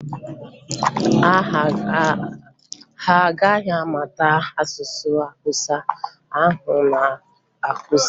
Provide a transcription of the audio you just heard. Ha a ga-amụta asụsụ Awụsa ahụ ị na-akụzi?